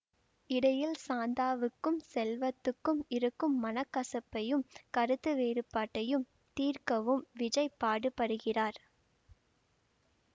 இடையில் சாந்தாவுக்கும் செல்வத்துக்கும் இருக்கும் மனக்கசப்பையும் கருத்துவேறுபாட்டையும் தீர்க்கவும் விஜய் பாடுபடுகிறார்